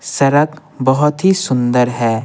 सड़क बहुत ही सुंदर है।